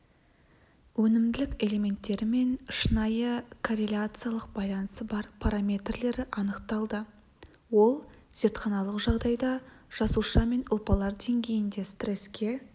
өнімділік элементтерімен шынайы корреляциялық байланысы бар параметрлері анықталды ол зертханалық жағдайда жасуша мен ұлпалар деңгейінде стреске